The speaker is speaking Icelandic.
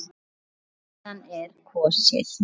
Síðan er kosið.